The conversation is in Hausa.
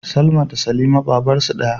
Salma da Salima babarsu daya